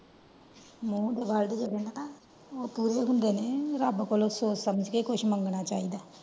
ਮੂੰਹ ਦੇ word ਜਿਹੜੇ ਨੇ ਨਾ ਉਹ ਪੂਰੇ ਹੁੰਦੇ ਨੇ ਰੱਬ ਕੋਲੋਂ ਸੋਚ ਸਮਝ ਕ ਕੁਛ ਮੰਗਣਾ ਚਾਹੀਦਾ ਹੈ।